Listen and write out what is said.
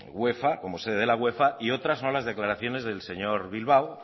uefa como sede de la uefa y otra son las declaraciones del señor bilbao